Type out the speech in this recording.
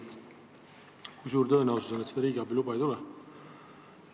Kui suur tõenäosus on, et seda riigiabiluba ei tule?